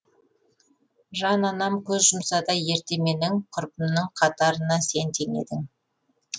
жан анам көз жұмса да ерте менің құрбымның қатарына сен теңедің